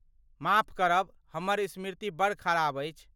माफ करब, हमर स्मृति बड़ खराब अछि।